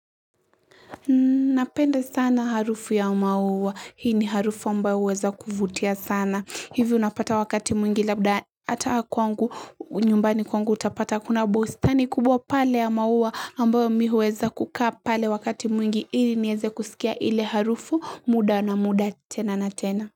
Napenda sana harufu ya maua. Hii ni harufu ambayo huweza kuvutia sana. Hivyo unapata wakati mwingi labda hata kwangu, nyumbani kwangu utapata kuna bustani kubwa pale ya maua ambayo mimi huweza kukaa pale wakati mwingi. Ili nieze kusikia ile harufu muda na muda tena na tena.